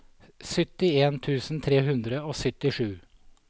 syttien tusen tre hundre og syttisju